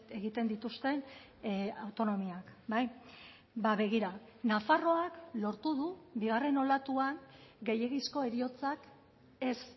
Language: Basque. egiten dituzten autonomiak begira nafarroak lortu du bigarren olatuan gehiegizko heriotzak ez